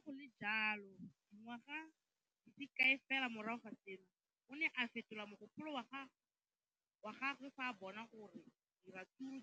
Le fa go le jalo, dingwaga di se kae fela morago ga seno, o ne a fetola mogopolo wa gagwe fa a bona gore diratsuru